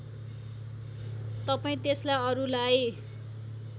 तपाईँ त्यसलाई अरूलाई